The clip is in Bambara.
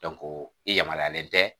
i yamaruyalen tɛ